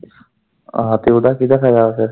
ਆਹੋ ਤੇ ਓਦਾ ਕਿਦਾ ਫਾਇਦਾ ਆ ਫਿਰ।